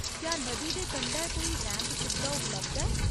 क्या नदी दे कंढै कोई रैंप सुबधा उपलब्ध ऐ ?